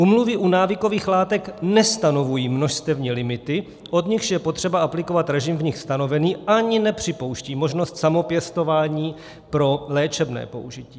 Úmluvy u návykových látek nestanovují množstevní limity, od nichž je potřeba aplikovat režim v nich stanovený, ani nepřipouštějí možnost samopěstování pro léčebné použití.